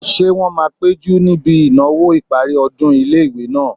Ṣé wọ́n máa péjú níbi ìnáwó ìparí ọdún ilé-ìwé náà?